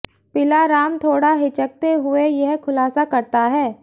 पिला राम थोड़ा हिचकते हुए यह खुलासा करता है